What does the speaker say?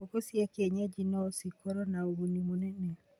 Ngũkũ cia kĩenyanji no cikorwo na ũguni mũnene